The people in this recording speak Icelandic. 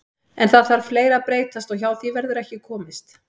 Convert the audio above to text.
En það þarf fleira að breytast og hjá því verður ekki komist.